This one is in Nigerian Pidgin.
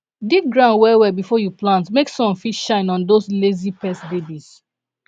dig ground well well before you plant make sun fit shine on those lazy pest babies